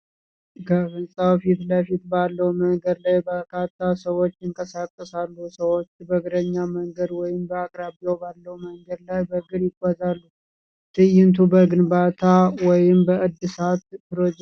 ከሕንጻው ፊት ለፊት ባለው መንገድ ላይ በርካታ ሰዎች ይንቀሳቀሳሉ። ሰዎች በእግረኛ መንገድ ወይም በአቅራቢያው ባለው መንገድ ላይ በእግር ይጓዛሉ። ትዕይንቱ በግንባታ ወይም በእድሳት ፕሮጀክት ወቅት የከተማዋን የዕለት ተዕለት ሕይወት ነው።